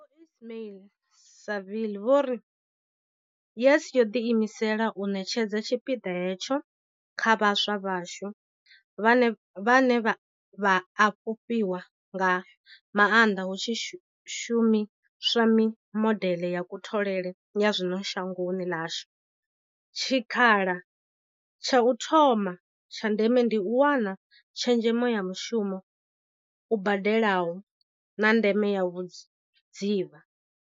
Vho Ismail-Saville vho ri. YES yo ḓiimisela u ṋetshedza tshipiḓa hetsho kha vhaswa vhashu, vhane vha a fhufhiwa nga maanḓa hu tshi shumiswa mimodeḽe ya kutholele ya zwino shangoni ḽashu, tshikhala tsha u thoma tsha ndeme ndi u wana tshezhemo ya mushumo u badelaho, na ndeme ya vhudzivha.